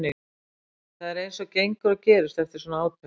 Það er eins og gengur og gerist eftir svona átök.